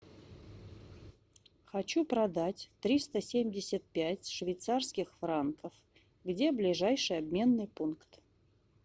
хочу продать триста семьдесят пять швейцарских франков где ближайший обменный пункт